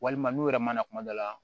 Walima n'u yɛrɛ mana kuma dɔ la